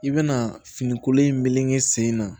I bɛna fini kolon in meleke sen na